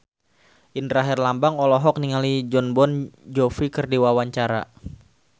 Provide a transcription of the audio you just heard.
Indra Herlambang olohok ningali Jon Bon Jovi keur diwawancara